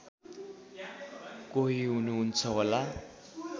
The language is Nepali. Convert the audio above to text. कोही हुनुहुन्छ होला